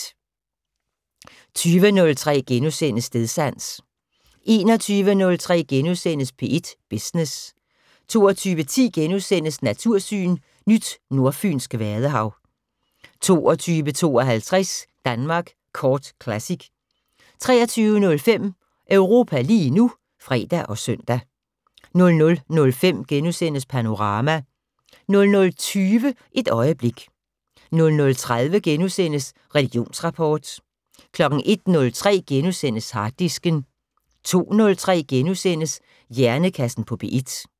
20:03: Stedsans * 21:03: P1 Business * 22:10: Natursyn: Nyt nordfynsk vadehav * 22:52: Danmark Kort Classic 23:05: Europa lige nu (fre og søn) 00:05: Panorama * 00:20: Et øjeblik 00:30: Religionsrapport * 01:03: Harddisken * 02:03: Hjernekassen på P1 *